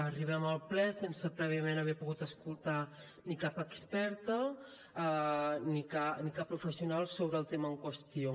arribem al ple sense prèviament haver pogut escoltar ni cap experta ni cap professional sobre el tema en qüestió